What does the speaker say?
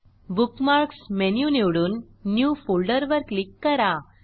bookmarks menu निवडून new folder वर click करा